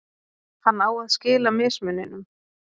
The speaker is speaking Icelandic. hann á að skila mismuninum